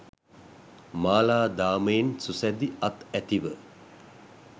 මාලාදාමයෙන් සුසැදි අත් ඇතිව